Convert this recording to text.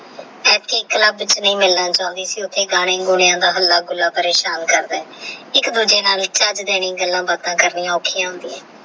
ਐਤਕੀ Club ਵਿੱਚ ਨਹੀਂ ਮਿਲਣਾ ਚਾਹੁੰਦੀ ਸੀ ਉੱਥੇ ਗਾਨੀਆਂ ਗੁੰਨ੍ਹੀਆਂ ਦਾ ਹੱਲਾ ਪ੍ਰੇਸ਼ਾਨ ਕਰਦਾ ਹੈ ਇੱਕ ਦੂਜੇ ਨਾਲ ਗੱਲਾਂ ਬਾਤਾਂ ਕਰਨੀਆਂ ਔਖੀਆਂ ਹੁੰਦੀਆਂ।